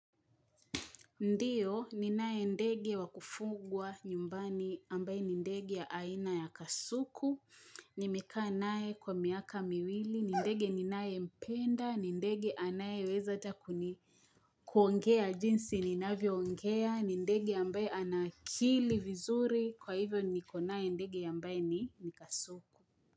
Ndiyo, ninae ndege wakufugwa nyumbani ambaye ni ndege ya aina ya kasuku, nimekaa naye kwa miaka miwili, ni ndege ninayempenda, ni ndege anayeweza hata kuni kuongea jinsi ninavyoongea, ni ndege ambaye ana akili vizuri, kwa hivyo nikonaye ndege ambaye ni, ni kasuku.